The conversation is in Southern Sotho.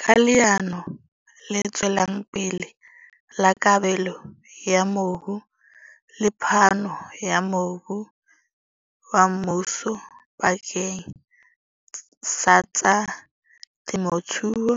Ka Leano le Tswelang Pele la Kabelo ya Mobu le phano ya mobu wa mmuso bakeng sa tsa temothuo,